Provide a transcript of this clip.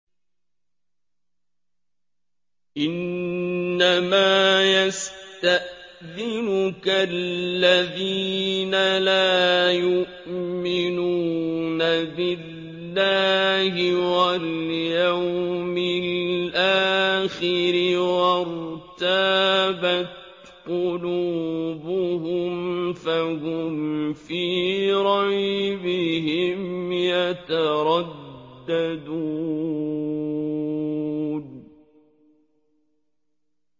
إِنَّمَا يَسْتَأْذِنُكَ الَّذِينَ لَا يُؤْمِنُونَ بِاللَّهِ وَالْيَوْمِ الْآخِرِ وَارْتَابَتْ قُلُوبُهُمْ فَهُمْ فِي رَيْبِهِمْ يَتَرَدَّدُونَ